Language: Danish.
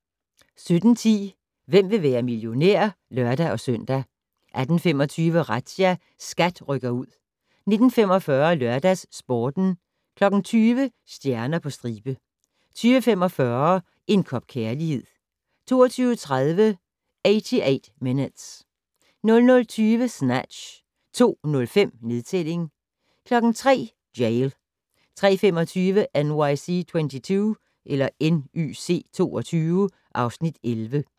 17:10: Hvem vil være millionær? (lør-søn) 18:25: Razzia - SKAT rykker ud 19:45: LørdagsSporten 20:00: Stjerner på stribe 20:45: En kop kærlighed 22:30: 88 Minutes 00:20: Snatch 02:05: Nedtælling 03:00: Jail 03:25: NYC 22 (Afs. 11)